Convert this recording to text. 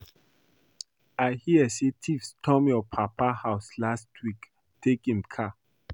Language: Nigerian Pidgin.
I hear say thieves storm your papa house last week take im car